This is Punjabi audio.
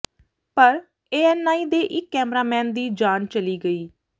ਪਰ ਏਐੱਨਆਈ ਦੇ ਇੱਕ ਕੈਮਰਾਮੈਨ ਦੀ ਜਾਨ ਚਲੀ ਗਈ